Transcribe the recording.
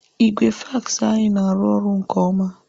Igwe fax anyị na-arụ ọrụ nke ọma.